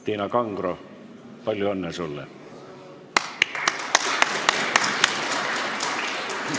Tiina Kangro, palju õnne sulle!